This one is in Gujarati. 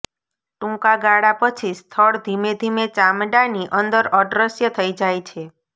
ટૂંકા ગાળા પછી સ્થળ ધીમે ધીમે ચામડાની અંદર અદૃશ્ય થઈ જાય છે